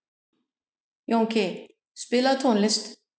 Jónki, spilaðu tónlist.